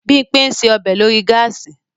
Bímpé ń ṣe ọbẹ̀ lórí gáàsì